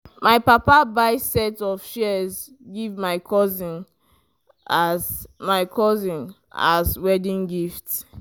my papa buy set of shears give my cousin as my cousin as wedding gift.